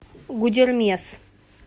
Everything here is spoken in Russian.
гудермес